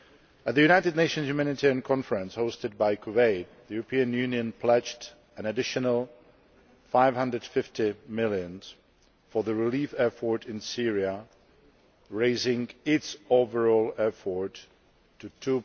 At the United Nations Humanitarian Conference hosted by Kuwait, the European Union pledged an additional EUR 550 million for the relief effort in Syria, raising its overall effort to EUR